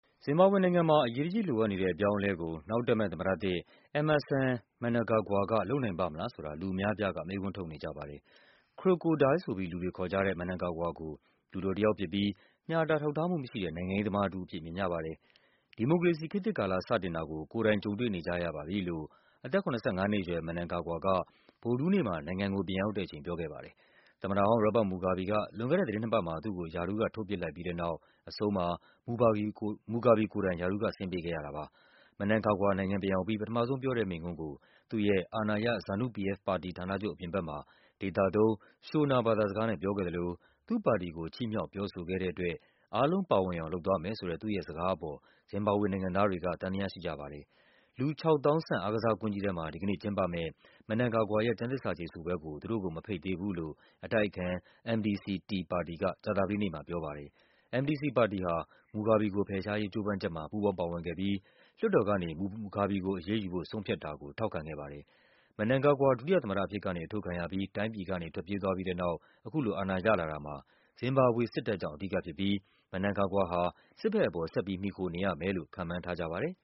ဇင်ဘာဘွေနိုင်ငံမှာ အရေးတကြီးလိုအပ်နေတဲ့ အပြောင်းအလဲကို နောက်တက်မယ့်သမ္မတသစ် Emmerson Mnangagwa က လုပ်နိုင်ပါ့မလားဆိုတာ လူအများအပြားက မေးခွန်းထုတ်နေကြပါတယ်။ Crocodile ဆိုပြီး လူတွေခေါ်ကြတဲ့ Mnangagwa ကို လူတော်တယောက်ဖြစ်ပြီး ညှာတာ ထောက်ထားမှုမရှိတဲ့ နိုင်ငံရေးသမား တဦးအဖြစ် မြင်ကြပါတယ်။ ဒီမိုကရေစီ ခေတ်သစ်ကာလ စတင်တာကို ကိုယ်တိုင် ကြုံတွေ့နေကြရပါပြီလို့ အသက် ၇၅ နှစ်အရွယ် Mnangagwa က ဗုဒ္ဓဟူးနေ့မှာ နိုင်ငံကိုပြန်ရောက်တဲ့အချိန် ပြောခဲ့ပါတယ်။ သမ္မတဟောင်း ရောဘတ် မူဂါဘီက လွန်ခဲ့တဲ့ သီတင်းနှစ်ပတ်မှာ သူ့ကို ရာထူးကထုတ်ပစ်လိုက်ပြီးတဲ့နောက် အဆုံးမှာ မူဂါဘီကိုယ်တိုင် ရာထူးက ဆင်းပေးခဲ့ရတာပါ။ Mnangagwa က နိုင်ငံပြန်ရောက်ပြီး ပထမဆုံးပြောတဲ့မိန့်ခွန်းကို သူ့ရဲ့ အာဏာရ ZNU-PF ပါတီဌာနချုပ်အပြင်ဘက်မှာ ဒေသ သုံး Shona ဘာသာစကားနဲ့ပြောခဲ့သလို သူ့ပါတီကို ချီးမြှောက်ပြောဆိုခဲ့တဲ့အတွက် အားလုံးပါဝင်အောင် လုပ်သွားမယ်ဆိုတဲ့ သူ့ရဲ့စကားအပေါ် ဇင်ဘာဘွေနိုင်ငံသားတွေက သံသယရှိကြပါတယ်။ လူ ၆ သောင်းဆန့် အားကစားကွင်းကြီးထဲမှာ ဒီကနေ့ကျင်းပမယ့် Mnangagwa ရဲ့ ကျမ်းသစ္စာကျိန်ဆိုပွဲကို သူတို့ကိုမဖိတ်သေး ဘူးလို့ အတိုက်အခံ MDC-T ပါတီက ကြာသပတေးနေ့မှာပြောပါတယ်။ MDC ပါတီဟာ မူဂါဘီကိုဖယ်ရှားရေး ကြိုးပမ်းချက်မှာ ပူးပေါင်းပါဝင်ခဲ့ပြီး လွှတ်တော် မူဂါဘီကိုအရေးယူဖို့ လွှွှတ်တော်ကဆုံးဖြတ်တာကို ထောက်ခံခဲ့ပါတယ်။ Mnangagwa ဒုတိယသမ္မတအဖြစ်ကနေ အထုတ်ခံရပြီး တိုင်းပြည်ကနေ ထွက်ပြေးသွားပြီးတဲ့နောက် အခုလိုအာဏာရလာတာ မှာ ဇင်ဘာဘွေစစ်တပ်ကြောင့် အဓိကဖြစ်ပြီး Mnangagwa ဟာ စစ်ဘက်ပေါ် ဆက်ပြီး မှီခိုနေရမယ်လို့ ခန့်မှန်းထားကြပါတယ်